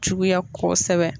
Juguya kosɛbɛ.